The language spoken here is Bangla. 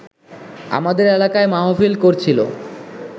আমাদের এলাকায় মাহফিল করছিল